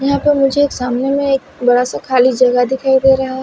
यहां पर मुझे सामने में एक बड़ा सा खाली जगह दिखाई दे रहा है।